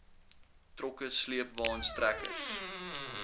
trokke sleepwaens trekkers